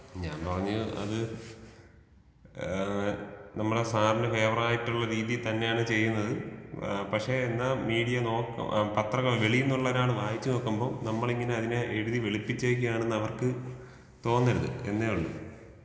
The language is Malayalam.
ഞാൻ പറഞ്ഞു അത് ഏ നമ്മളെ സാർന് ഫാവറായിട്ടുള്ള രീതിയിൽ തന്നെയാണ് ചെയ്യുന്നത് ഏ പക്ഷെ എന്നാ മീഡിയ നോക്ക് പത്രങ്ങൾ വെളിയിൽ നിന്നുള്ള ഒരാള് വായിച്ച് നോക്കുമ്പോൾ നമ്മളിങ്ങനെ അതിനെ എഴുതി വെളുപ്പിച്ചേക്കാണ് എന്നവർക്ക് തോന്നരുത് എന്നെ ഉള്ളു